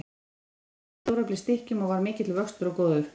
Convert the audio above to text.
Maturinn kom í stóreflis stykkjum og var mikill að vöxtum og góður.